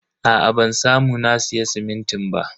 Aa ban samu na siya simintin ba.